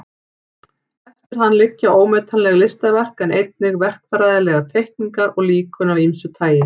Eftir hann liggja ómetanleg listaverk en einnig verkfræðilegar teikningar og líkön af ýmsu tagi.